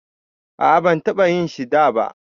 A'a ban taba yin shi da ba.